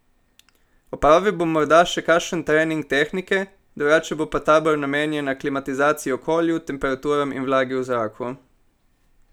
Opravil bom morda še kakšen trening tehnike, drugače pa bo tabor namenjen aklimatizaciji okolju, temperaturam in vlagi v zraku.